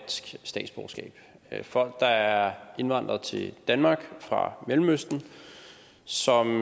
er folk der er indvandret til danmark fra mellemøsten som